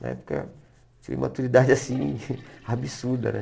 Na época, eu tinha imaturidade, assim, absurda, né?